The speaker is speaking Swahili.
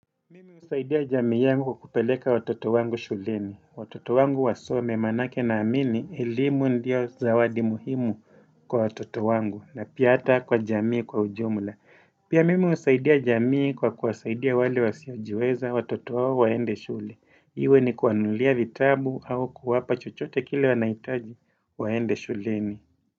Mimi usaidia jamii yangu kupeleka watoto wangu shuleni. Watoto wangu wasome manake na amini elimu ndio zawadi muhimu kwa watoto wangu. Na pia ata kwa jamii kwa ujumula. Pia mimi usaidia jamii kwa kuwasaidia wale wasiajiweza watoto wawo waende shule. Iwe ni kuanulia vitabu au kuwapa chochote kile wanaitaji waende shuleni.